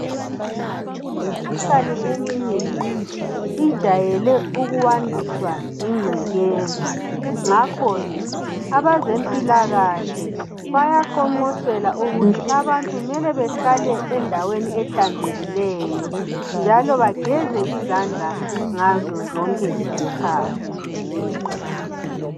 Imikhuhlane eminengi ijayele ukwandiswa yingcekeza .Ngakho ke abezempilakahle bayaqonqosela ukuthi abantu kumele behlale endaweni ehlanzekileyo .Njalo bageze izandla ngazo zonke izikhathi .